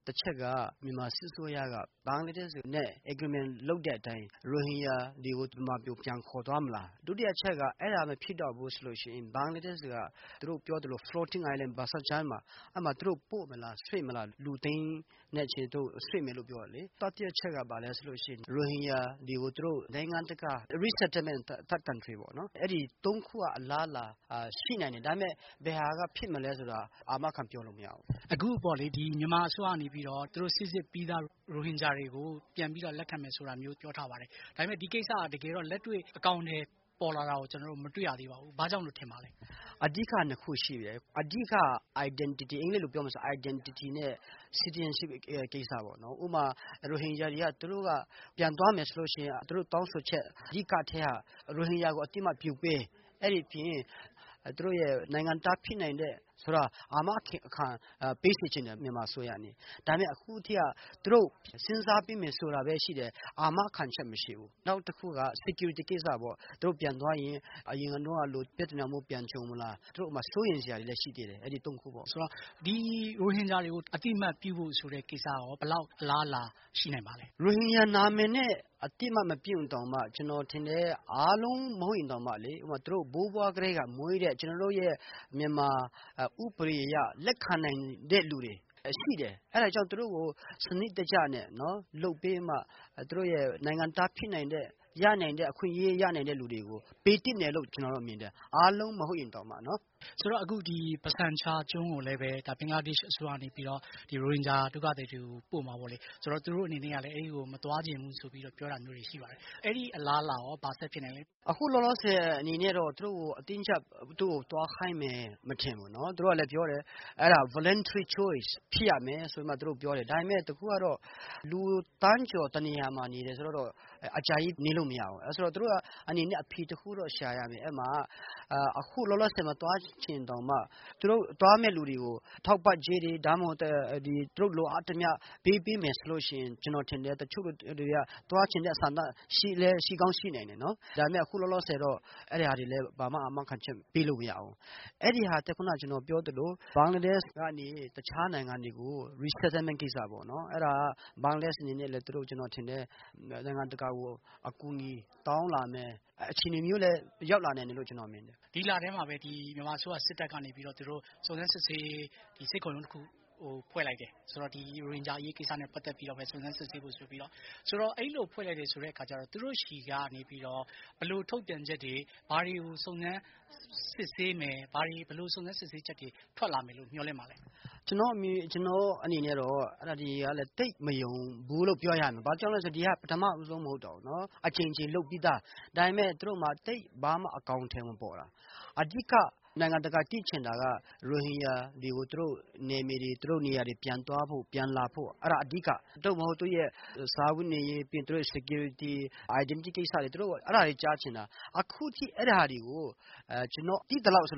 တချက်က မြန်မာစစ်အစိုးရက ဘင်္ဂလားဒေ့ရှ်နဲ့ Agreement လုပ်တဲ့အတိုင်း ရိုဟင်ဂျာတို့ကို မြန်မာပြည်ပြန်ခေါ်သွားမလား။ ဒုတိယအချက်က အဲဒါမဖြစ်တော့ဘူးဆိုရင် ဘင်္ဂလားဒေ့ရှ်က Bhasan char ကျွန်းကို ပို့မလား လူသိန်းနဲ့ချီပြီး သူတို့ ရွှေ့မယ်လို့ ပြောတာလေ ။ တတိယအချက်ကတော့ ရိုဟင်ဂျာတို့ကိုတခြားနိုင်ငံ resettlement third country ပေါ့နော် အဲဒီ ၃ ခုကတော့ အလားအလာရှိနိုင်တယ် ဒါပေမယ့် ဘယ်ဟာဖြစ်မလဲဆိုတာ အာမခံပြောလို့မရဘူး။ မြန်မာအစိုးရကနေပြီးတော့ တချို့ သူတို့ စိစစ်ပြီးသား ရိုဟင်ဂျာတွေကို ပြန်လက်ခံမယ်လို့ သူတို့ ပြောထားပါတယ်။ ဒါပေမယ့် လက်တွေ့အကောင်အထည်ပေါ်လာတာကို မတွေ့ရသေးပါဘူး။ ဘာကြောင့်လို့ ထင်ပါသလဲ။ အဓိက ၂ ခုရှိတယ်။ အဓိက Identity နဲ့ Citizenship ကိစ္စပေ့ါနော်။ ဥပမာ- ရိုဟင်ဂျာတွေက ပြန်သွားမယ်ဆိုရင် သူတို့တောင်းဆိုချက်အတိုင်း ရိုဟင်ဂျာကို အသိအမှတ်ပြုပေး ၊ အဲဒီအပြင် သူတို့ရဲ့ နိုင်ငံသားဖြစ်နိုင်တဲ့ဟာကို အာမခံပေးစေချင်တယ် မြန်မာအစိုးရကနေ။ ဒါပေမယ့် အခုအထိက သူတို့စဉ်းစားပေးမယ်ဆိုတာပဲရှိတယ်။ အာမခံချက်မရှိဘူး။ နောက်တခုက Security ကိစ္စပေါ့ ။ သူတို့ပြန်သွားရင် အရင်ကလို ပြဿနာပြန်ကြုံမလား ဆိုတဲ့ စိုးရိမ်စရာတွေလည်း ရှိသေးတယ်။ ရိုဟင်ဂျာတွေကို အသိအမှတ်ပြုပေးဖို့ဆိုတဲ့ ကိစ္စရော ဘယ်လောက်အလားအလာ ရှိနိုင်ပါသလဲ။ ရိုဟင်ဂျာနာမည်နဲ့ အသိအမှတ်မပြုရင်တောင်မှ ကျနော်ထင်တယ် ၊ အားလုံးမဟုတ်ရင်တောင် သူတို့ဘိုးဘွားကတည်းက မွေးတဲ့ ကျနော်တို့ရဲ့ မြန်မာဥပဒေအရ လက်ခံနိုင်တဲ့လူတွေ ရှိတယ်။ အဲဒါကြောင့် သူတို့ကို စနစ်တကျနဲ့ လုပ်ပေးမှ သူတို့ရဲ့ နိုင်ငံသားဖြစ်နိုင်တဲ့ အခွင့်အရေးရနိုင်တဲ့ လူတွေကို ပေးသင့်တယ်လို့ ကျနော်မြင်တယ် အားလုံးမဟုတ်ရင်တောင်မှနော်။ Bhasan char ကျွန်းကို ဘင်္ဂလားဒေ့ရှ်အစိုးရကနေပြီးတော့ ရိုဟင်ဂျာဒုက္ခသည်တွေကို ပို့မှာပေါ့လေ။ သူတို့အနေနဲ့ကလည်း အဲဒီကို မသွားချင်ဘူး လို့ပြောတာရှိပါတယ်။ အဲဒီအလားအလာရော ဘာဆက်ဖြစ်နိုင်သလဲ။ လောလောဆည်အနေနဲ့ အတင်းအကျပ် သူတို့ကို သွားခိုင်းမယ် မထင်ဘူး။ သူတို့ကလည်း ပြောတယ် voluntary choice ဖြစ်ရမယ်လို့ သူတို့ပြောတယ်။ ဒါပေမယ့် လူသန်းကျော် တနေရာမှာနေတယ်ဆိုတာကတော့ အကြာကြီးနေလို့မရဘူး။ အဲဒါကြောင့် သူတို့အနေနဲ့ အဖြေတခုတော့ရှာရမယ်။ အခုလောလောဆည် မသွားချင်ရင်တောင်မှသွားမယ့်လူတွေကို ထောက်ပံ့ကြေးတွေ၊ သူတို့ လိုအပ်သမျှ ပေးပေးမယ်ဆိုရင် ကျနော်ထင်တယ် တချို့လူတွေက သွားချင်တဲ့ ဆန္ဒ ရှိကောင်းရှိနိုင်တယ်။ ဒါပေမယ့် အခုလောလောဆည်တော့ ဘာမှ အာမခံချက်ပေးလို့မရဘူး။ အဲဒီဟာထက် ကျနော်ခုနကပြောသလို ဘင်္ဂလားဒေ့ရှ်ကနေ တခြားနိုင်ငံတွေကို resettlement ကိစ္စပေ့ါနော် ဘင်္ဂလားဒေ့ရှ်အနေနဲ့လည်း ကျနော်ထင်တယ် နိုင်ငံတကာကို အကူအညီတောင်းလာမယ့် အခြေအနေမျိုးလည်း ရောက်လာမယ်လို့ ကျနော်မြင်တယ်။ ဒီလထဲမှာပဲ မြန်မာအစိုးရစစ်တပ်ကနေပြီးတော့ စုံစမ်းစစ်ဆေးရေး စစ်ခုံရုံးတခုဖွဲ့လိုက်တယ်။ ဆိုတော့ ရိုဟင်ဂျာအရေးကိစ္စနဲ့ ပတ်သက်ပြီးတော့ စုံစမ်းစစ်ဆေးဖို့ဆိုတော့ ။ အဲလို ဖွဲ့လိုက်တယ်ဆိုတော့ သူတို့ဆီကနေ ဘယ်လိုထုတ်ပြန်ချက်တွေ ဘာတွေကို စုံစမ်းစစ်ဆေးမယ် ။ဘယ်လိုစုံစမ်းစစ်ဆေးချက်တွေ ထွက်လာမယ်လို့မျှော်လင့်ပါသလဲ။ ကျနော့်အနေနဲ့ကတော့ အဲဒါတွေက သိပ်မယုံဘူးလို့ ပြောရမယ် ဘာကြောင့်လဲဆိုတော့ ဒါက ပထမဦးဆုံးမဟုတ်တော့ဘူး အကြိမ်ကြိမ်လုပ်ပြီးသား ဒါပေမယ့် သူတို့မှာ သိပ်ဘာမှ အကောင်အထည်မပေါ်တာ။ အဓိက နိုင်ငံတကာက သိချင်တာက ရိုဟင်ဂျာတွေ ကို သူတို့နေရာပြန်သွားဖို့ ပြန်လာဖို့ အဲဒါအဓိက ၊ သူတို့စားဝတ်နေရေး၊ လုံခြုံရေး ၊ Identity အဲဒါတွေ သူတို့ကြားချင်တာ။ အခုအထိ အဲဒါတွေကို ကျနော်သိသလောက်ဆို